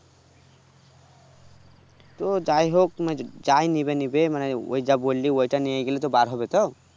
তো যাইহোক যাই নেবে নিবে মানে ওই যা বললি ওটা নিয়েগেলে তো বার হবে তো